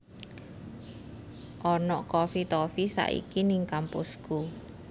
Ono Coffee Toffee saiki ning kampusku